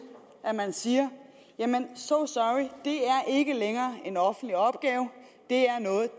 at man siger so sorry det er ikke længere en offentlig opgave det er noget